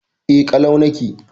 E, ƙalau nake.